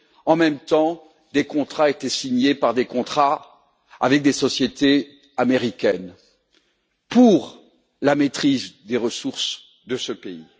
En même temps, des contrats étaient signés avec des sociétés américaines pour la maîtrise des ressources de ce pays.